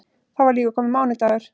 Þá var líka kominn mánudagur.